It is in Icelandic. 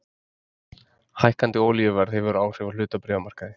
Hækkandi olíuverð hefur áhrif á hlutabréfamarkaði